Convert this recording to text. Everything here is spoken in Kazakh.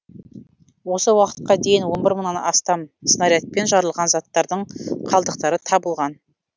осы уақытқа дейін он бір мыңнан астам снарядпен жарылған заттардың қалдықтары табылған